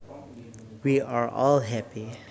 We are all happy